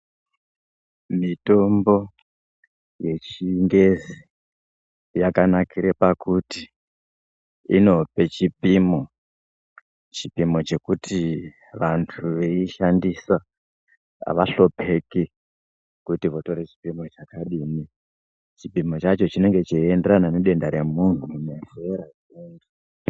Mitombo yechingezi yakanakire pakuti inope chipimo, chipimo chekuti vantu veishandisa avahlupheki kuti votore chipimo chakadini. Chipimo chacho chinenge cheienderana nedenda remunhu ,nezera nemuntu.....